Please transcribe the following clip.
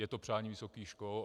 Je to přání vysokých škol.